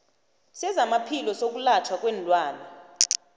sezamaphilo sokwelatjhwa kweenlwana